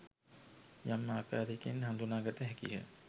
යම් ආකාරයකින් හඳුනාගත හැකිය.